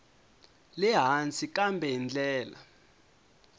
le hansi kambe hi ndlela